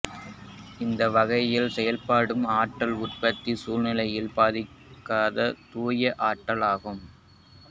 இந்த வகையில் செய்யப்படும் ஆற்றல் உற்பத்தி சுற்றுச்சூழலைப் பாதிக்காத தூய ஆற்றல் ஆகும்